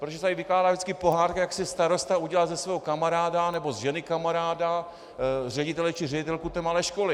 Protože se tady vykládá vždycky pohádka, jak si starosta udělal ze svého kamaráda nebo z ženy kamaráda ředitele či ředitelku té malé školy.